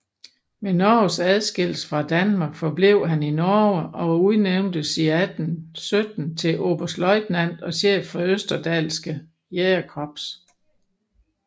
Ved Norges adskillelse fra Danmark forblev han i Norge og udnævntes 1817 til oberstløjtnant og chef for Østerdalske Jægerkorps